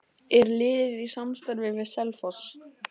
Er liðið í samstarfi við Selfoss?